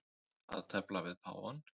Að tefla við páfann